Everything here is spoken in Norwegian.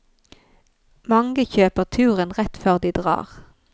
Mange kjøper turen rett før de drar.